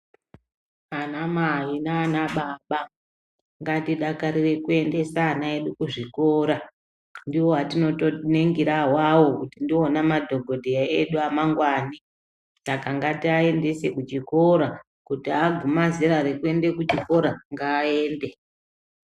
Anamai nanababa ngatidakarire kuendesa ana edu kuzvikora. Ndivo atinotoningira avavo kuti ndivona madhogodheya edu amanjani. Saka ngatiaendese kuchikora kuti aguma zera rekuenda kuchikora ngaaende.